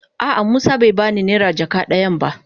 A'a musa bai ba ni naira jaka dayan da.